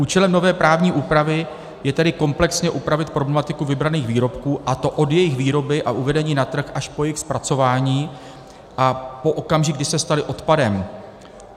Účelem nové právní úpravy je tedy komplexně upravit problematiku vybraných výrobků, a to od jejich výroby a uvedení na trh až po jejich zpracování a po okamžik, kdy se staly odpadem.